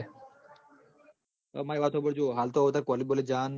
અ મારી વાત હોભ જો હાલતો કોલેજ બોલેજ જવાનું નહિ